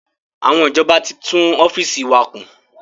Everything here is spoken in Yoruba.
Àwọn ìjọba tí tún ọ́fíìsì wa kùn